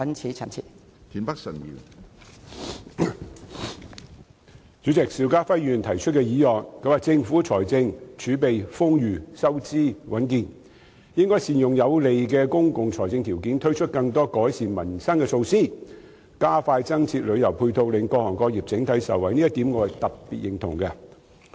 主席，邵家輝議員提出的議案指政府的財政儲備豐裕，收支穩健，應該善用這有利的公共財政條件，推出更多改善民生的措施，並加快增設旅遊配套，令各行各業整體受惠，我對這點特別認同。